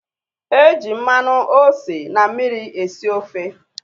E ji mmanụ, ose, na mmiri esi ofe